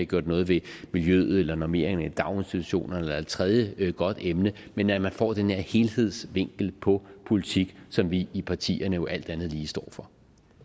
gjort noget ved miljøet eller normeringerne i daginstitutionerne eller et tredje godt emne men at man får den her helhedsvinkel på politik som vi i partierne jo alt andet lige står for